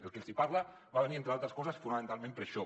el que els parla va venir entre altres coses fonamentalment per això